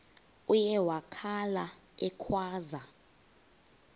uye wakhala ekhwaza